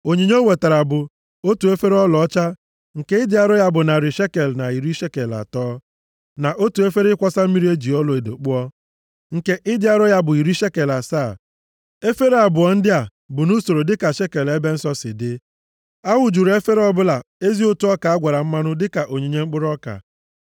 Onyinye o wetara bụ: otu efere ọlaọcha nke ịdị arọ ya bụ narị shekel na iri shekel atọ, na otu efere ịkwọsa mmiri e ji ọlaedo kpụọ, nke ịdị arọ ya bụ iri shekel asaa, efere abụọ ndị a bụ nʼusoro dịka shekel ebe nsọ si dị. A wụjuru efere ọbụla ezi ụtụ ọka a gwara mmanụ dịka onyinye mkpụrụ ọka.